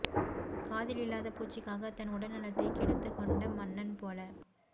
காதில் இல்லாத பூச்சிக்காகத் தன் உடல்நலத்தைக் கெடுத்துக் கொண்ட மன்னன் போல